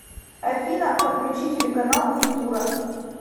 афина подключи телеканал культура